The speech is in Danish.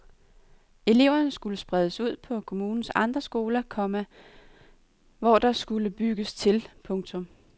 Eleverne skulle spredes ud på kommunens andre skoler, komma hvor der skulle bygges til. punktum